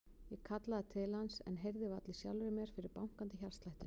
Ég kallaði til hans en heyrði varla í sjálfri mér fyrir bankandi hjartslættinum.